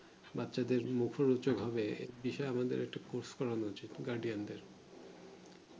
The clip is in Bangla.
বাচ্চা দের মুখরোচক হবে সে বিষয়ে আমাদের